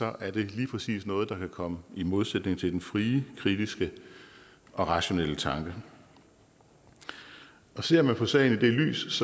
er det lige præcis noget der kan komme i modsætning til den frie kritiske og rationelle tanke ser man på sagen i det lys